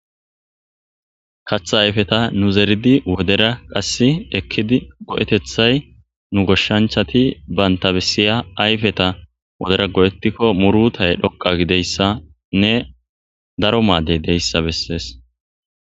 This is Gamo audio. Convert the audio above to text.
Katha ayfeta nu zeridi wodera qass ekkidi go'etethay nu goshshanchati banta bessiya ayfeta wodera go'ettikko murutay dhoqa gideyssanne daro maaddey deyssa bessees.